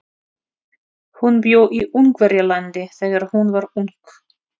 Hún bjó í Ungverjalandi þegar hún var ung.